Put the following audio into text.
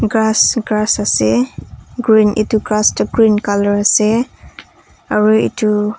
grass grass ase green etu grass tu green colour ase aru etu--